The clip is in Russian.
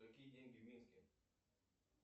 какие деньги в минске